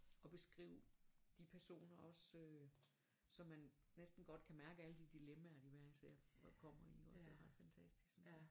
Og beskrive de personer også øh så man næsten godt kan mærke alle de dilemmaer de hver især kommer i ikke også det er ret fantastisk synes jeg